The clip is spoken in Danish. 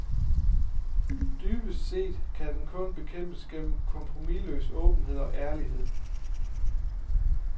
Dybest set kan den kun bekæmpes gennem kompromisløs åbenhed og ærlighed.